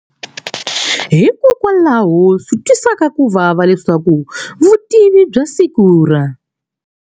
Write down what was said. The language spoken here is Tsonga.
Hikokwalaho swi twisaka ku vava leswaku vutivi bya siku ra.